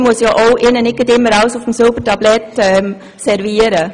Man muss ihnen ja auch nicht immer alles auf dem Silbertablett servieren.